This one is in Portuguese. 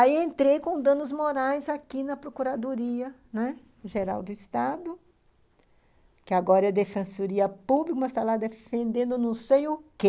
Aí entrei com danos morais aqui na Procuradoria, né, Geral do Estado, que agora é a Defensoria Pública, mas está lá defendendo não sei o quê.